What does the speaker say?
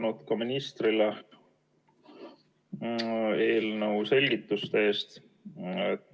Suur tänu ministrile eelnõu selgituste eest!